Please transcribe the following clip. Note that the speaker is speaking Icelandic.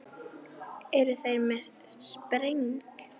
Eru þeir komnir í spreng?